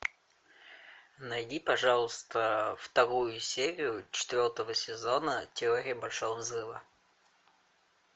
найди пожалуйста вторую серию четвертого сезона теория большого взрыва